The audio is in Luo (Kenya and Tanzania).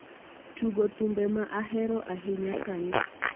Tugo thumbe ma ahero ahinya sani